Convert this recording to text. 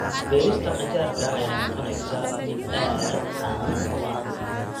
Beerista qajaarka ayaa noqonaysa mid aad u caan ah.